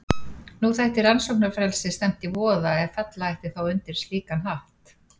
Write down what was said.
Nú þætti rannsóknarfrelsi stefnt í voða ef fella ætti þá undir slíkan hatt.